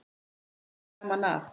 Hann hafði gaman af.